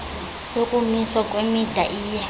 yokumiswa kwemida iye